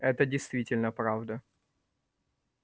это действительно правда